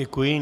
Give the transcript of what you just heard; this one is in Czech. Děkuji.